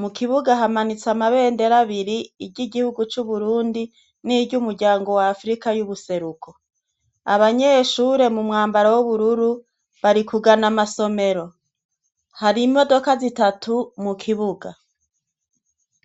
mukibuga hamanitse amabendera abiri iry'igihugu c'Uburundi n'iry'umuryango wa Afurika y'Ubuseruko. Abanyeshure mu mwambaro w'ubururu bari kugana ishure, hari imodoka zitatu mukibuga.